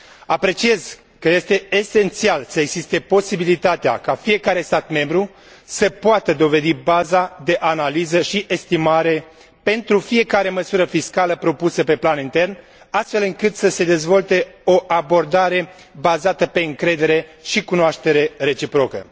Apreciez că este esențial să existe posibilitatea ca fiecare stat membru să poată dovedi baza de analiză și estimare pentru fiecare măsură fiscală propusă pe plan intern, astfel încât să se dezvolte o abordare bazată pe încredere și cunoaștere reciprocă.